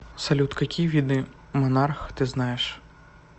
салют какие виды монарх ты знаешь